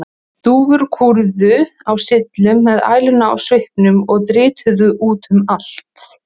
Dúfur kúrðu á syllum með æluna í svipnum og dritið út um allt.